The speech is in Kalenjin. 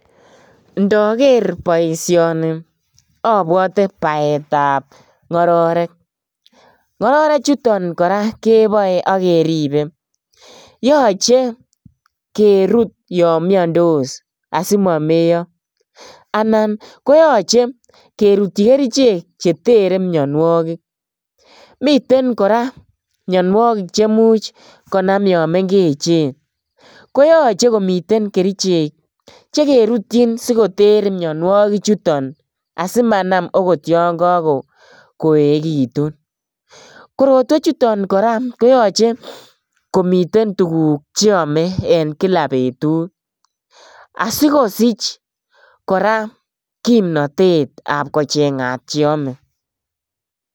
Ndoger boisioni abwote baetab ngororek. Ngororechuton kora keboe ak keribe. Yoche kerut yomiandos asimameiyo anan koyoche kerutyi kerichek chetere mianwogik. Miten kora mianwogik chemuch konam yon mengechen. Koyoche komiten kerichek che kerutyin sigoter mianwogichuton asimanam agot yon kakoegitun. Korotwechuton kora koyoche komiten tuguk che ome en kila betut, sikosich kora kimnatet ab kochengat cheome.